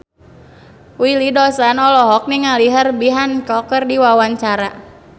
Willy Dozan olohok ningali Herbie Hancock keur diwawancara